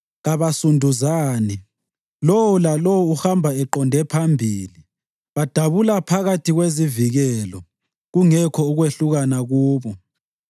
Kabasunduzani; lowo lalowo uhamba eqonde phambili. Badabula phakathi kwezivikelo kungekho kwehlukana kubo.